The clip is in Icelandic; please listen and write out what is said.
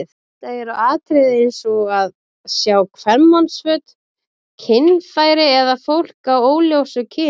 Þetta eru atriði eins og að sjá kvenmannsföt, kynfæri eða fólk af óljósu kyni.